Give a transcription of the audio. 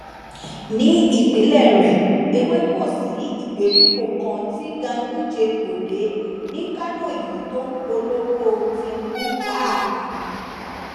ní ìpínlẹ rẹ èwe kò sí ìgbèríko kan tí ganduje kò dé ní kánò yìí tó ń polówó tìǹbù káàkiri